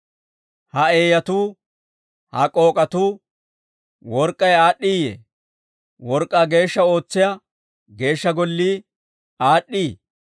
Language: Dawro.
Ha eeyatuu, ha k'ook'atuu, work'k'ay aad'd'iiyee? Work'k'aa geeshsha ootsiyaa Geeshsha Gollii aad'd'ii?